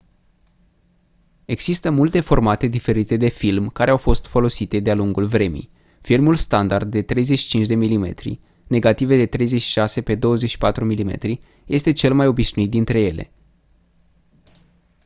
există multe formate diferite de film care au fost folosite de-a lungul vremii. filmul standard de 35 mm negative de 36 pe 24 mm este cel mai obișnuit dintre ele